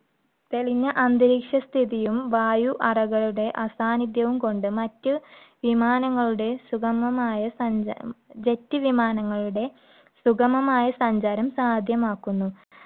തെളിഞ്ഞ അന്തരീക്ഷ സ്ഥിതിയും, വായു അറകളുടെ അസാന്നിധ്യവും കൊണ്ട്, മറ്റ് വിമാനങ്ങളുടെ സുഗമമായ~ ജെറ്റ് വിമാനങ്ങളുടെ സുഗമമായ സഞ്ചാരം സാധ്യമാക്കുന്നു.